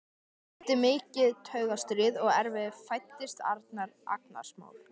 Eftir mikið taugastríð og erfiði fæddist Arnar, agnarsmár.